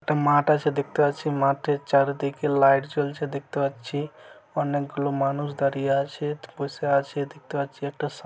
একটা মাঠ আছে দেখতে পাচ্ছি মাঠের চারিদিকে লাইট জ্বলছে দেখতে পাচ্ছি অনেকগুলো মানুষ দাঁড়িয়ে আছে বসে আছে দেখতে পাচ্ছি একটা সা--